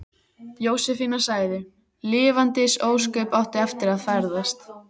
Jósefína sagði: Lifandis ósköp áttu eftir að ferðast.